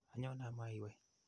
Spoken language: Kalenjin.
Anyone ama iwe.